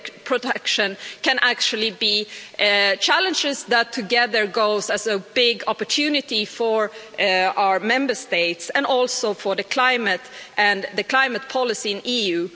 protection can actually be challenges that together go as a big opportunity for our Member States and also for the climate and climate policy in the EU.